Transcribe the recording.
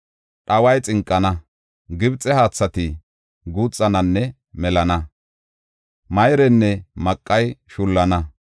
Dhaway xinqana; Gibxe haathati guuxananne melana; mayreynne maqay shullana;